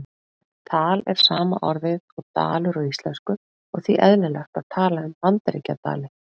Tal er sama orðið og dalur á íslensku og því eðlilegt að tala um Bandaríkjadali.